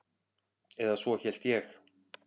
Eða svo hélt ég.